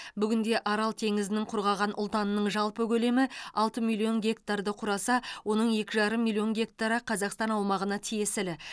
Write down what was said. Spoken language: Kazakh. бүгінде арал теңізінің құрғаған ұлтанының жалпы көлемі алты миллион гектарды құраса оның екі жарым миллион гектары қазақстан аумағына тиесілі